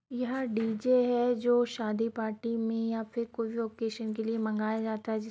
यह डीजे है जो शादी पार्टी में या फिर कोई ओकेशन के लिए मंगाया जाता है। जिस --